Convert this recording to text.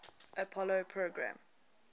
apollo program